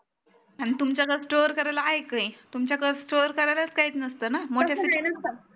अन तुमच्यात store करायला आहे का काही तुमच्याकळ store करायला काहीच नसत ना